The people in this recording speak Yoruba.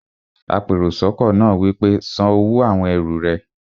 apèròsọ́kọ́ náà wí pé, "san owó àwon ẹrù rẹ!